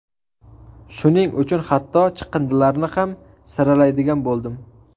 Shuning uchun hatto chiqindilarni ham saralaydigan bo‘ldim.